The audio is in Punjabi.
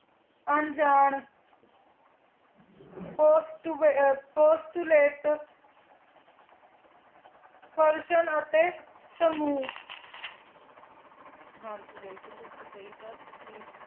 ਹਨ ਜੀ ਬਿਲਕੁਲ ਤੁਸੀਂ ਸੀ ਕਿਯਾ ਤੁਸੀਂ